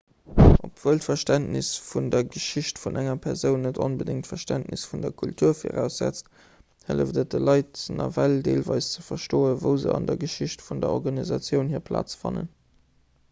obwuel d'verständnis vun der geschicht vun enger persoun net onbedéngt d'verständnis vun der kultur viraussetzt hëlleft et de leit nawell deelweis ze verstoen wou se an der geschicht vun der organisatioun hir plaz fannen